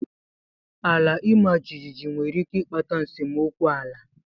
Ala imajiji nwere ike ịkpata nsemokwu ala.